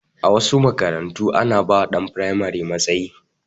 A wasu makarantun ana ba wa ɗan firamare matsayi